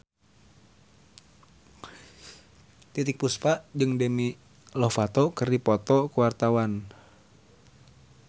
Titiek Puspa jeung Demi Lovato keur dipoto ku wartawan